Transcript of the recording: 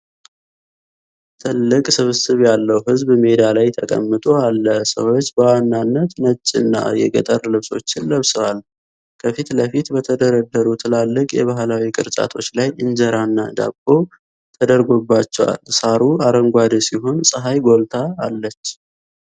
ትልቅ ስብስብ ያለው ሕዝብ ሜዳ ላይ ተቀምጦ አለ። ሰዎች በዋናነት ነጭና የገጠር ልብሶችን ለብሰዋል። ከፊት ለፊት በተደረደሩ ትላልቅ የባህላዊ ቅርጫቶች ላይ እንጀራ እና ዳቦ ተደርጎባቸዋል። ሣሩ አረንጓዴ ሲሆን ፀሐይ ጎልታ አለች።